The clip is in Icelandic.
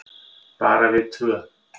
Bara við tvö.